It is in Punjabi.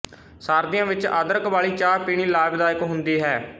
ਸਰਦੀਆਂ ਵਿੱਚ ਅਦਰਕ ਵਾਲੀ ਚਾਹ ਪੀਣੀ ਲਾਭਦਾਇਕ ਹੁੰਦੀ ਹੈ